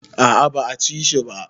A'a ba a cire shi ba